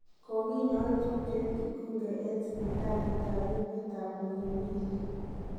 Konginyoe tupchet Kingunge en sipitaliit ab emet ab Muhimbili.